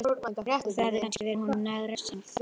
Og það hefði kannski verið honum næg refsing.